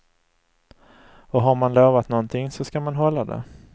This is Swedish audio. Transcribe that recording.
Och har man lovat någonting så ska man hålla det.